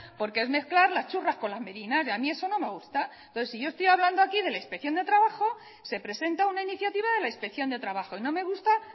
porque es mezclar las churras con las merinas y a mí eso no me gusta entonces si yo estoy hablando aquí de la inspección de trabajo se presenta una iniciativa de la inspección de trabajo y no me gusta